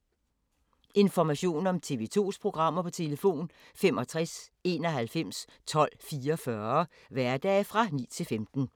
Information om TV 2's programmer: 65 91 12 44, hverdage 9-15.